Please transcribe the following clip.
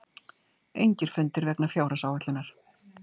Engir fundir vegna fjárhagsáætlunar